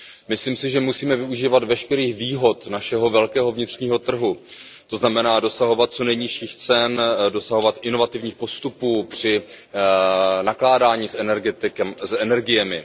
Myslím si, že musíme využívat veškerých výhod našeho velkého vnitřního trhu, to znamená, dosahovat co nejnižších cen, dosahovat inovativních postupů při nakládání s energiemi.